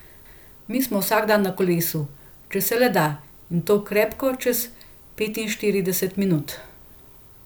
Mi smo vsak dan na kolesu, če se le da in to krepko čez petinštirideset minut.